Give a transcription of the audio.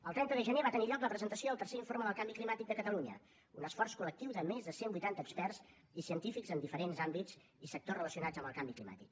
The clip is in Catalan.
el trenta de gener va tenir lloc la presentació del tercer informe del canvi climàtic de catalunya un esforç col·lectiu de més de cent vuitanta experts i científics en diferents àmbits i sectors relacionats amb el canvi climàtic